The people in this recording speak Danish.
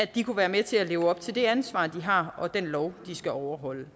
de kunne være med til at leve op til det ansvar de har og den lov de skal overholde